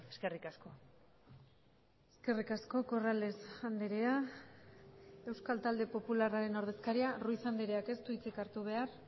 eskerrik asko eskerrik asko corrales andrea euskal talde popularraren ordezkaria ruiz andreak ez du hitzik hartu behar